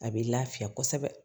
A bɛ lafiya kosɛbɛ